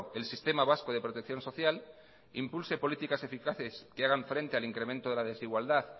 el sistema vasco de protección social impulse políticas eficaces que hagan frente al incremento de la desigualdad